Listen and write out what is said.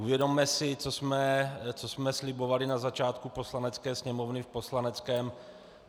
Uvědomme si, co jsme slibovali na začátku Poslanecké sněmovny v poslaneckém...